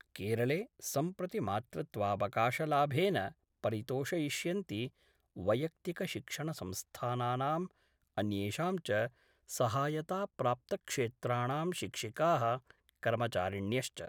केरले सम्प्रति मातृत्वावकाशलाभेन परितोषयिष्यन्ति वैयक्तिकशिक्षणसंस्थानानां अन्येषां च सहायताप्राप्त क्षेत्राणां शिक्षिकाः कर्मचारिण्यश्च।